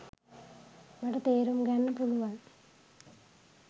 මට තේරුම් ගන්න පුළුවන්